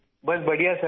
بس بڑھیا سر